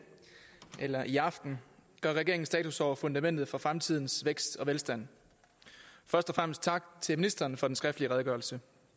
eller i aften gør regeringen status over fundamentet for fremtidens vækst og velstand først og fremmest tak til ministeren for den skriftlige redegørelse